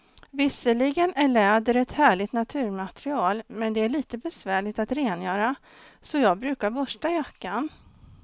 Visserligen är läder ett härligt naturmaterial, men det är lite besvärligt att rengöra, så jag brukar borsta jackan.